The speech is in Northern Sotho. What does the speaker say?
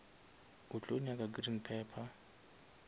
o tlo nyaka green pepper